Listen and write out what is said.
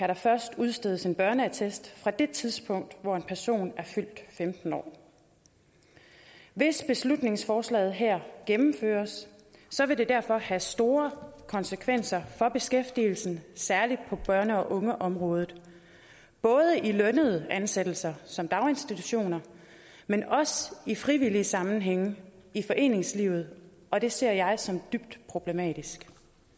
der først udstedes en børneattest fra det tidspunkt hvor en person er fyldt femten år hvis beslutningsforslaget her gennemføres vil det derfor have store konsekvenser for beskæftigelsen særlig på børn og unge området både i lønnede ansættelser som i daginstitutioner men også i frivillige sammenhænge i foreningslivet og det ser jeg som dybt problematisk